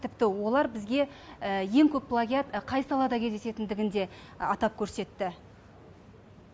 тіпті олар бізге ең көп плагиат қай салада кездесетіндігін де атап көрсетті